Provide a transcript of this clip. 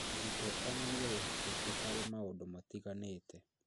Mũrutwo onanie wĩhokeku harĩ maũndũ matiganĩte